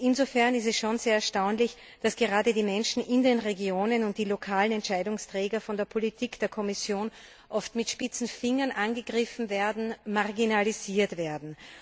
Insofern ist es schon sehr erstaunlich, dass gerade die Menschen in den Regionen und die lokalen Entscheidungsträger von der Politik der Kommission oft mit spitzen Fingern angegriffen werden, marginalisiert werden.